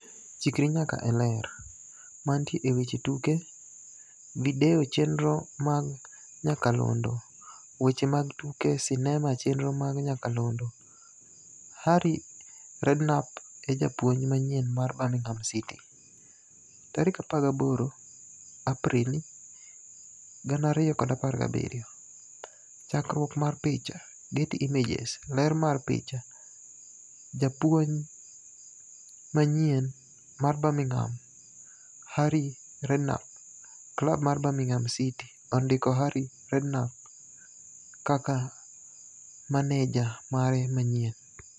Chikri nyaka e Ler. Mantie e weche tuke. Video chenro mag nyakalondo. Weche mag tuke sinema chenro mag nyakalondo. Harry Redknapp e japuonj manyien mar Birmingham City, 18 Aprili 2017. Chakruok mar picha, Getty Images. Ler mar picha. Japuony manyien mar Birmingham, Harry Rednapp. Klab mar Birmingham City ondiko Harry Reknapp kaka maneja mare manyien